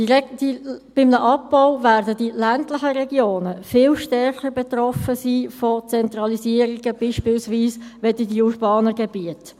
Bei einem Abbau werden die ländlichen Regionen zum Beispiel von Zentralisierungen viel stärker betroffen sein als die urbanen Gebiete.